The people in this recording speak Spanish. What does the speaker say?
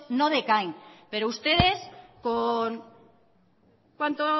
no decaen pero ustedes con cuánto